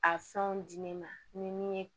A fɛnw di ne ma ni min ye